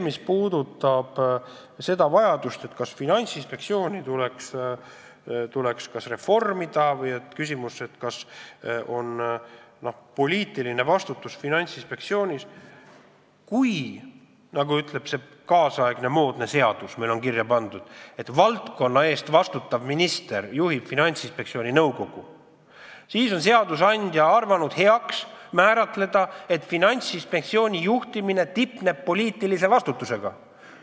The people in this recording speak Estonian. Mis puudutab seda, kas Finantsinspektsiooni tuleks reformida ja kas ka poliitiline vastutus on Finantsinspektsioonil, kui meil kirja pandud seadus ütleb, et valdkonna eest vastutav minister juhib Finantsinspektsiooni nõukogu, siis seadusandja on arvanud heaks määratleda, et Finantsinspektsiooni juhtimine tipneb poliitilise vastutusega.